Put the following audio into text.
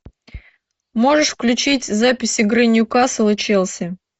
можешь включить запись игры ньюкасл и челси